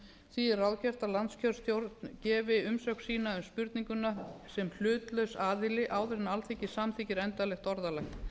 því er ráðgert að landskjörstjórn gefi umsögn sína um spurninguna sem hlutlaus aðili áður en alþingi samþykkir endanlegt orðalag